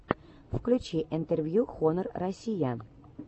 включи интервью хонор россия